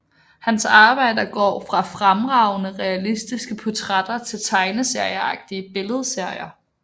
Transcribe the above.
Hans arbejder går fra fremragende realistiske portrætter til tegneserieagtige billedserier